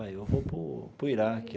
Pai eu vou para o para o Iraque.